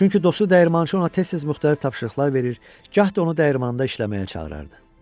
Çünki dostu dəyirmançı ona tez-tez müxtəlif tapşırıqlar verir, gah da onu dəyirmanında işləməyə çağırırdı.